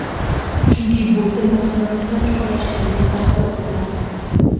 Chunki bu til maktabimizda chuqurlashtirilgan tarzda o‘qitilardi.